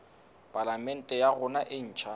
palamente ya rona e ntjha